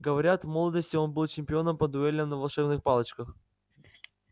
говорят в молодости он был чемпионом по дуэлям на волшебных палочках